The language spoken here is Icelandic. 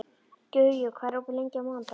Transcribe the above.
Guja, hvað er opið lengi á mánudaginn?